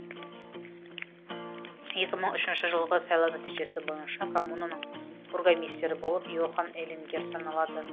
екі мың үшінші жылғы сайлау нәтижесі бойынша коммунаның бургомистері болып йохан элингер саналады